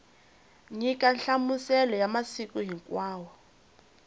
nyika nhlamuselo ya masiku hinkwawo